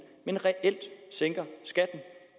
men reelt sænker skatten